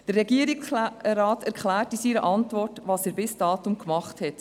Der Regierungsrat erklärt in seiner Antwort, was er bis dato gemacht hat: